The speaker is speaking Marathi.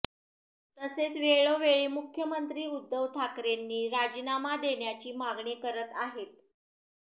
तसेच वेळोवेळी मुख्यमंत्री उद्धव ठाकरेंनी राजीनामा देण्याची मागणी करत आहेत